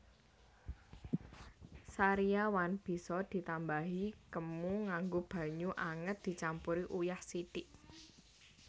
Sariawan bisa ditambani kemu nganggo banyu anget dicampur uyah sithik